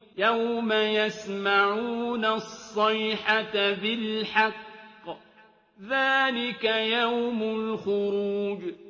يَوْمَ يَسْمَعُونَ الصَّيْحَةَ بِالْحَقِّ ۚ ذَٰلِكَ يَوْمُ الْخُرُوجِ